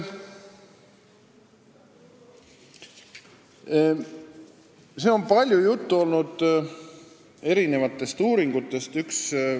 Siin on olnud palju juttu erinevatest uuringutest.